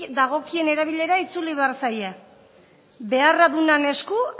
dagokien erabilera itzuli behar zaie beharra dunan esku